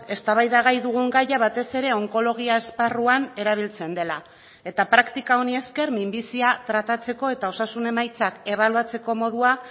eztabaidagai dugun gaia batez ere onkologia esparruan erabiltzen dela eta praktika honi esker minbizia tratatzeko eta osasun emaitzak ebaluatzeko modua